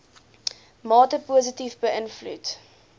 mate positief beïnvloed